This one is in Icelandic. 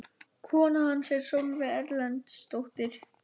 Kona hans er Sólveig Erlendsdóttir kennari.